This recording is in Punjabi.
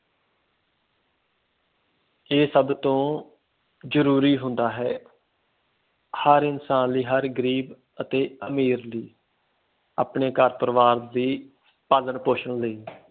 ਏਹ ਸਭ ਤੋਂ ਜ਼ਰੂਰੀ ਹੁੰਦਾ ਹੈ ਹਰ ਇਨਸਾਨ ਲਈ ਹਰ ਗਰੀਬ ਅਤੇ ਅਮੀਰ ਲਈ ਆਪਣੇ ਘਰ ਪਰਿਵਾਰ ਦੀ ਪਾਲਣ ਪੋਸ਼ਣ ਲਈ